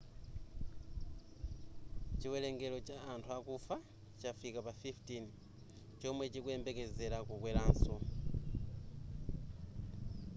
chiwelengero cha anthu akufa chafika pa 15 chomwe chikuyembekezera kukweranso